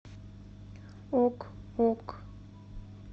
ок ок